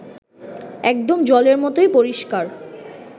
একদম জলের মতোই পরিষ্কার